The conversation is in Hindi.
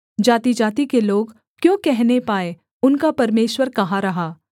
जातिजाति के लोग क्यों कहने पाएँ उनका परमेश्वर कहाँ रहा